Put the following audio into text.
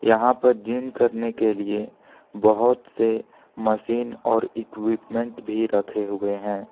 यहां पर जिम करने के लिए बहौत से मशीन और इक्विपमेंट भी रखे हुए है।